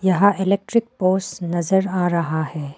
यहां electric poles नजर आ रहा है।